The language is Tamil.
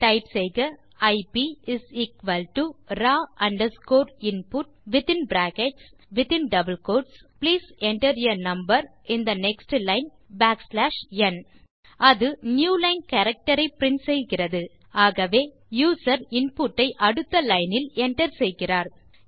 டைப் செய்க ஐப் raw underscore input within brackets within double quotes please enter a number in the next line backslash n அது நியூலைன் கேரக்டர் ஐ பிரின்ட் செய்கிறது ஆகவே யூசர் இன்புட் ஐ அடுத்த லைன் இல் enter செய்கிறார்